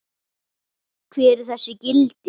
Hver eru þessi gildi?